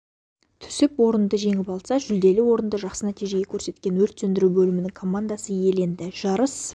түсіп орынды жеңіп алса жүлделі орынды жақсы нәтиже көрсеткен өрт сөндіру бөлімінің командасы иеленді жарыс